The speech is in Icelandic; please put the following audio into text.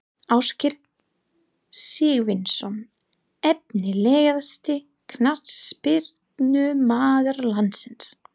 Ásgeir Sigurvinsson Efnilegasti knattspyrnumaður landsins?